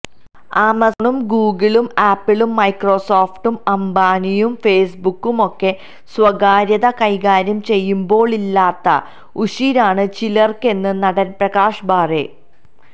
ആമസോണും ഗൂഗിളും ആപ്പിളും മൈക്രോസോഫ്റ്റും അംബാനിയും ഫേസ്ബുക്കും ഒക്കെ സ്വകാര്യത കൈകാര്യം ചെയ്യുമ്പോളില്ലാത്ത ഉശിരാണ് ചിലർക്കെന്ന് നടൻ പ്രകാശ് ബാരെ